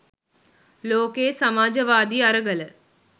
ලෝකයේ සමාජවාදී අරගල